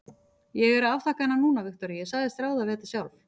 Ég er að afþakka hana núna, Viktoría, ég sagðist ráða við þetta sjálf.